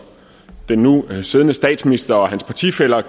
den nu siddende statsminister og hans partifæller